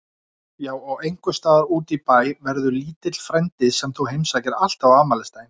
Já og einhvers staðar útí bæ verður lítill frændi sem þú heimsækir alltaf á afmælisdaginn.